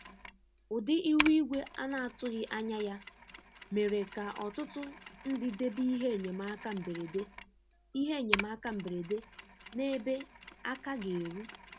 Ụdị ihu igwe a na-atụghị anya ya mere ka ọtụtụ ndị debe ihe enyemaka mberede ihe enyemaka mberede n'ebe aka ga eru.